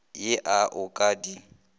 ye a o ka di